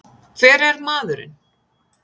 Hver er maðurinn?